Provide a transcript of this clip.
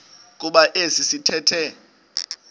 kuba esi sithethe